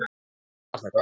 En svona var þetta.